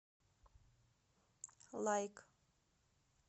лайк